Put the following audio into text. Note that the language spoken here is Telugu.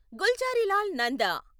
గుల్జారీలాల్ నంద